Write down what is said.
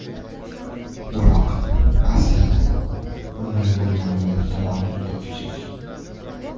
Biroq, aslida, bunday bo‘lganini ehtimoli juda kichik.